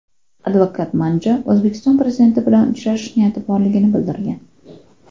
Advokat Manja O‘zbekiston prezidenti bilan uchrashish niyati borligini bildirgan.